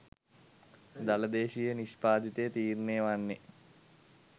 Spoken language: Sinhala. දළ දේශීය නිෂ්පාදිතය තීරණය වන්නේ